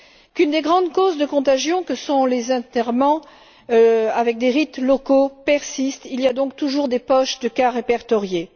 Qu'une des grandes causes de contagion que sont les enterrements avec des rites locaux persiste il y a donc toujours des poches de cas répertoriés.